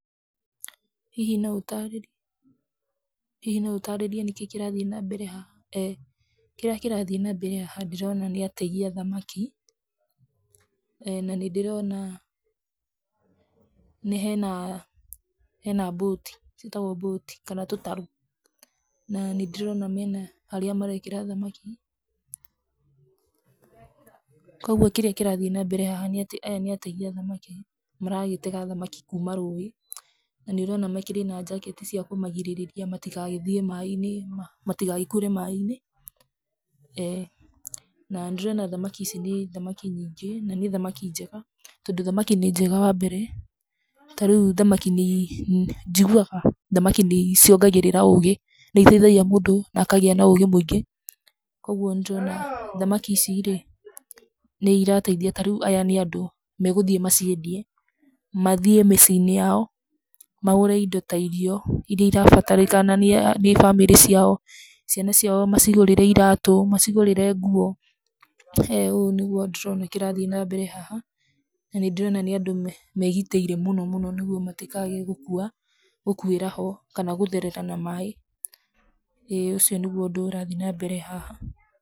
Hihi no ũtarĩri, Hihi no ũtaarĩrie nĩkĩĩ kĩrathiĩ na mbere haha? ĩ kĩrĩa kĩrathiĩ nambere haha ndĩrona nĩ ategi a thamaki na nĩndĩrona hena, hena boat ciĩtagwo mbũti, kana tũtarũ, na nĩndĩrona mena, harĩa marekĩra thamaki, kwoguo kĩrĩa kĩrathiĩ nambere haha nĩatĩ aya nĩ ategi a thamaki, maragĩtega thamaki kuma rũĩ, na nĩũrona makĩrĩ na njaketi cia kũmagirĩrĩria matigagĩthiĩ maĩ-inĩ ma, matigagĩkuĩre maĩ-inĩ, na nĩndĩrona thamaki ici nĩ thamaki nyingĩ, nanĩ thamaki njega, tondũ thamaki nĩ njega wambere, tarĩu thamaki nii, njiguaga thamaki nĩi ciongagĩrĩra ũgĩ, nĩiteithagia mũndũ na akagĩa na ũgĩ mũingĩ, koguo nĩndĩrona thamaki ici rĩ, nĩirateithia, tarĩu aya nĩ andũ megũthiĩ maciendie, mathiĩ mĩciĩ-inĩ yao, magũre indo ta irio iria irabatarĩkana nĩa nĩ bamĩrĩ ciao, ciana ciao macigũrĩre iratũ, macigũrĩre nguo, ũũ nĩguo ndĩrona kĩrathiĩ nambere haha, na nĩndĩrona nĩ andũ me megitĩire mũno mũno nĩguo matikae gũkua, gũkuĩra ho, kana gũtherera na maĩ, ĩ ũcio nĩguo ũndũ ũrathi nambere haha.